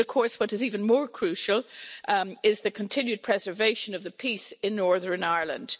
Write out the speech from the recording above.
What is even more crucial is the continued preservation of the peace in Northern Ireland.